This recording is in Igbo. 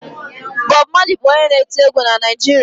Bọb Malị bụ onye na-eti egwu na Naịjirịa.